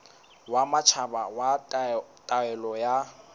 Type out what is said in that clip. wa matjhaba wa taolo ya